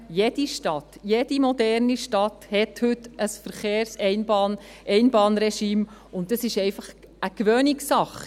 Jede Stadt, jede moderne Stadt hat heute ein Verkehrseinbahnregime, und das ist einfach eine Gewohnheitssache.